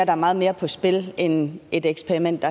er meget mere på spil end et eksperiment